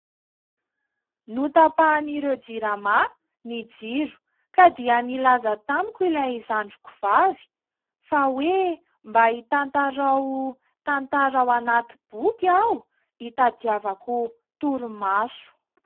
Notapahan'ireo Jirama ny jiro ka dia nilaza tamiko ilay zandriko vavy fa hoe mba hitantarao tantara ao anaty boky aho, hitadiavako torimaso.